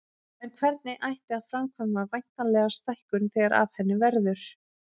En hvernig ætti að framkvæma væntanlega stækkun þegar af henni verður.